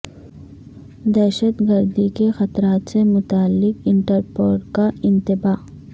دہشت گردی کے خطرات سے متعلق انٹرپول کا انتباہ